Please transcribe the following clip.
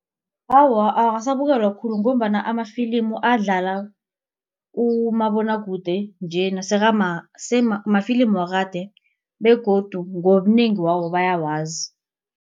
Awa, akasabukelwa khulu ngombana amafilimu adlala umabonwakude mafilimu wakade begodu ngobunengi wawo bayawazi.